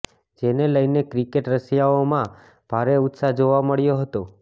જેને લઈને ક્રિકેટ રસિયાઓમાં ભારે ઉત્સાહ જોવા મળ્યો હતો